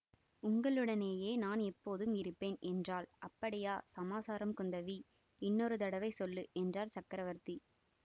உங்களுடனேயே நான் எப்போதும் இருப்பேன் என்றாள் அப்படியா சமாசாரம் குந்தவி இன்னொரு தடவை சொல்லு என்றார் சக்கரவர்த்தி